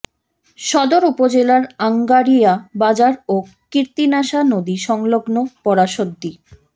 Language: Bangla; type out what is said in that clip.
সদর উপজেলার আংগারিয়া বাজার ও কীর্তিনাশা নদী সংলগ্ন পরাসদ্দি